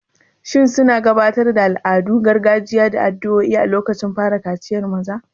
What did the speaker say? Shin suna gabatar da al'adun gargajiya da addu'o'i a lokacin fara kaciyar maza?